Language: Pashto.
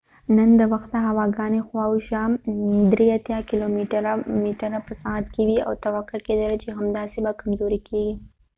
نن د وخته هوا ګانی خوا او شا 83 کېلو متره په ساعت کې وي او توقع کېدله چې همداسې به کمزوری کېږي